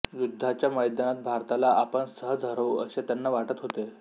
युद्धाच्या मैदानात भारताला आपण सहज हरवू असे त्यांना वाटत होते